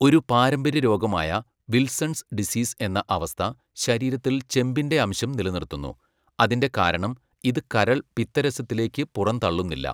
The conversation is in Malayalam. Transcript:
ഒരു പാരമ്പര്യരോഗമായ വിൽസൺസ് ഡിസീസ് എന്ന അവസ്ഥ ശരീരത്തിൽ ചെമ്പിന്റെ ആംശം നിലനിർത്തുന്നു, അതിന്റെ കാരണം ഇത് കരൾ പിത്തരസത്തിലേക്ക് പുറന്തള്ളുന്നില്ല.